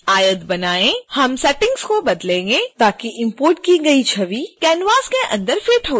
हम सेटिंग्स को बदलेंगें ताकि इम्पोर्ट की गई छवि canvas के अंदर फिट हो जाए